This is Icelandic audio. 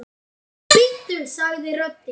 Bíddu sagði röddin.